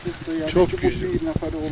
Hə, çox güclü idi, tək bir nəfər olmur.